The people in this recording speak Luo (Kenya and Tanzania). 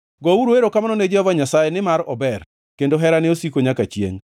Gouru erokamano ne Jehova Nyasaye, nimar ober; kendo herane osiko nyaka chiengʼ.